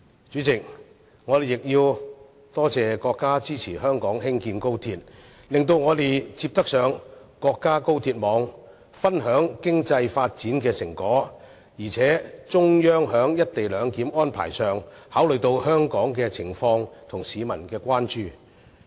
主席，我們亦要多謝國家支持香港興建高鐵，讓我們能連接到國家高鐵網，分享經濟發展的成果，而且中央在"一地兩檢"安排方面亦考慮到香港的情況和市民的關注。